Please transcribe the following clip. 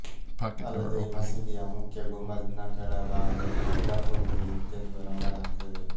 ಅಲ್ಲದೇ ಮಸೀದಿಯ ಮುಖ್ಯ ಗುಂಬಜ್ ನ ಕೆಳ ಭಾಗದಲ್ಲಿ ಗರ್ಭಗುಡಿ ಇತ್ತೆಂದು ನಂಬಲಾಗ್ತಿದೆ